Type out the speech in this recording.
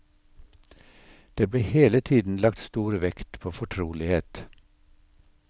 Det ble hele tiden lagt stor vekt på fortrolighet.